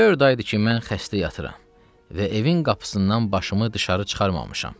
Dörd aydır ki, mən xəstə yatıram və evin qapısından başımı dışarı çıxarmamışam.